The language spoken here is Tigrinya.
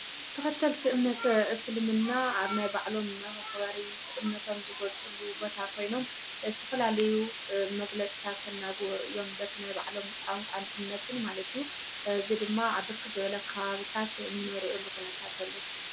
ተኸተልቲ እምነተ እስልምና ኣብ ማይ ባዕሎም መክበሪ እምነቶም ዝጐፅሉ በታ ኾይኖም ብዝተትፈላለዩ መግለዝታ ተናጕወር እዮም በቲ ናይ ባዕሎም ቛንቋን እምነትን ማለትዩ ዙይ ድማ ዓብርኪ ዘበለ ኽባብታት ነርየሉኹነታተሉ።